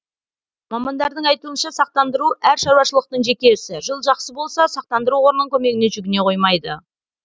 мамандардың айтуынша сақтандыру әр шаруашылықтың жеке ісі жыл жақсы болса сақтандыру қорының көмегіне жүгіне қоймайды